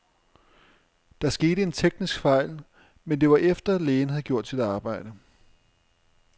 Der skete en teknisk fejl, men det var efter, lægen havde gjort sit arbejde.